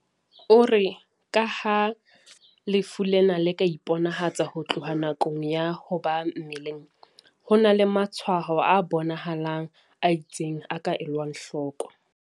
O re ka ha lefu lena le ka iponahatsa ho tloha nakong ya ho ba mmeleng, ho na le matshwaho a bona halang a itseng a ka elwang hloko."